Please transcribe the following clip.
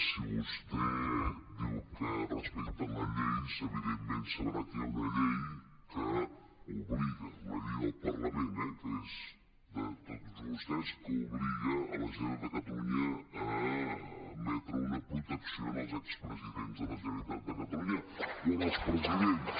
si vostè diu que respecta la llei evidentment sabrà que hi ha una llei que obliga la llei del parlament eh que és de tots vostès que obliga la generalitat de catalunya a emetre una protecció als expresidents de la generalitat de catalunya o als presidents